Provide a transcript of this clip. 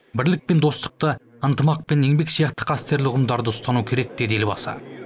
бірлік пен достықты ынтымақ пен еңбек сияқты қастерлі ұғымдарды ұстану керек деді елбасы